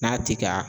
N'a ti ka